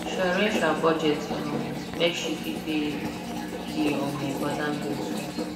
she arrange her budget um make she fit pay di um important bills first